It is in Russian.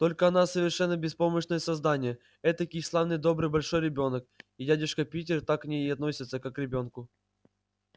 только она совершенно беспомощное создание этакий славный добрый большой ребёнок и дядюшка питер так к ней и относится как к ребёнку